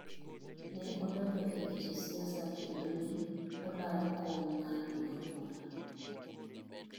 Ne odonjo e weche siasa kendo ne olaro kom mar duond bura.